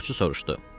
Qulluqçu soruşdu.